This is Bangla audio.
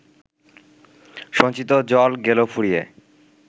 সঞ্চিত জল গেল ফুরিয়ে